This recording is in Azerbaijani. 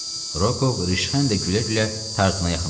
Rukov rişxəndlə gülə-gülə Tarzana yaxınlaşdı.